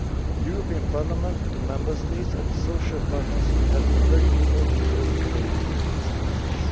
The European Parliament, the Member States and the social partners will have a very important role to play in this process.